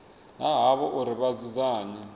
ha havho uri vha dzudzanye